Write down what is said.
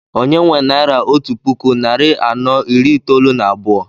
Onye nwe naira otú puku narị anọ iri itoolu na abụọ?